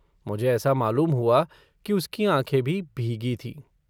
मुझे ऐसा मालूम हुआ कि उसकी आँखें भी भीगी थीं।